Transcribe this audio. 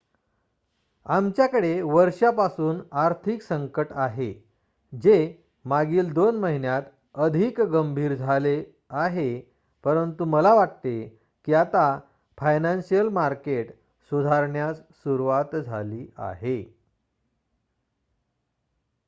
आमच्याकडे वर्षापासून आर्थिक संकट आहे जे मागील 2 महिन्यांत अधिक गंभीर झाले आहे परंतु मला वाटते की आता फायनान्शिअल मार्केट सुधारण्यास सुरुवात झाली आहे